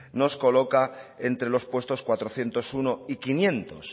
nos coloca entre los puestos cuatrocientos uno y quinientos